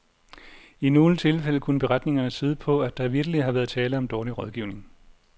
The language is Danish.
I nogle tilfælde kunne beretningerne tyde på, at der vitterlig har været tale om dårlig rådgivning.